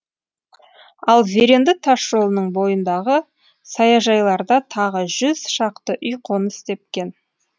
ал зеренді тасжолының бойындағы саяжайларда тағы жүз шақты үй қоныс тепкен